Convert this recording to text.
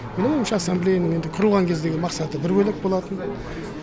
менің ойымша ассамблеяның енді құрылған кездегі мақсаты бір бөлек болатын